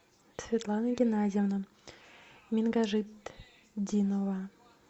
светлана геннадьевна менгажитдинова